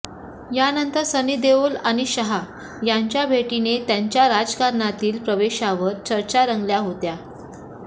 यानंतर सनी देओल आणि शहा यांच्या भेटीने त्यांच्या राजकारणातील प्रवेशावर चर्चा रंगल्या होत्या